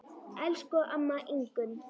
Elsku amma Ingunn.